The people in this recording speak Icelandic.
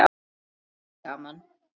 Hann: Gaman.